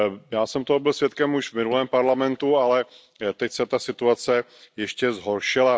Já jsem toho byl svědkem už v minulém Parlamentu, ale teď se ta situace ještě zhoršila.